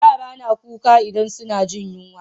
Yara na kuka idan suna jin yunwa